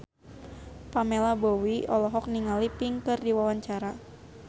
Pamela Bowie olohok ningali Pink keur diwawancara